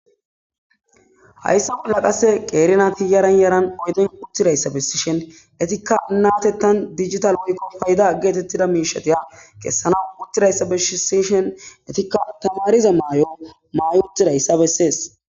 ''Hayssa bolla qasse qeeri nayti yaran yaran oyden utidaysa besishin eetika na'atetan digitaale woykko fayda geetetida miisheza kesanaw utidaysa beshisishin eetika tamaariza maayua maayi utidaysa besees.''